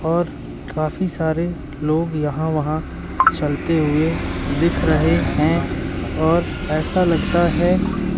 और काफी सारे लोग यहां वहां चलते हुए दिख रहे हैं और ऐसा लगता है।